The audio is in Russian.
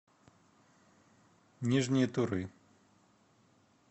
нижней туры